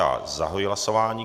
Já zahajuji hlasování.